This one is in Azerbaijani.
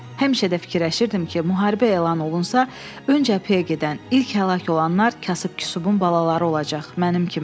Həmişə də fikirləşirdim ki, müharibə elan olunsa, öncə PEY-ə gedən, ilk həlak olanlar kasıb-küsubun balaları olacaq mənim kimi.